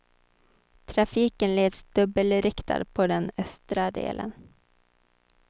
Trafiken leds dubbelriktad på den östra delen.